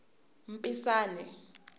mpisane